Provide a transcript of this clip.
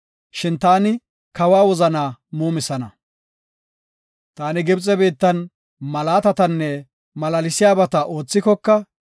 Shin taani kawa wozanaa muumisana. Taani Gibxe biittan malaatatanne malaalsiyabata oothikoka,